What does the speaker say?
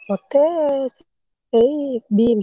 ମତେ ସେଇ ବିମ!